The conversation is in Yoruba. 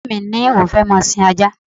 Ọ̀rẹ́ mi ni òun fẹ́ máa sin ajá